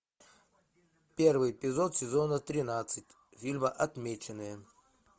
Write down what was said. первый эпизод сезона тринадцать фильма отмеченные